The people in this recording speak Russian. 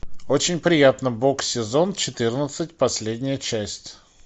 очень приятно бог сезон четырнадцать последняя часть